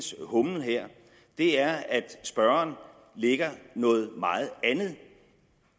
her er at spørgeren lægger noget meget andet